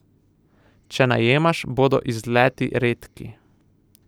Če najemaš, bodo izleti redki.